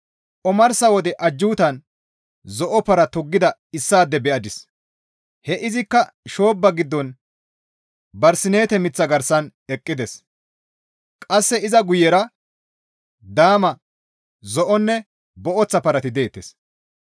Omarsa wode ajjuutan zo7o para toggida issaade be7adis; he izikka shoobba giddon barsineete miththata garsan eqqides; qasse iza guyera daama, zo7onne booththa parati deettes.